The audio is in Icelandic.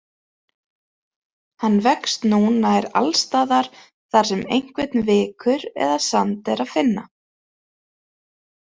Hann vex nú nær alls staðar þar sem einhvern vikur eða sand er að finna.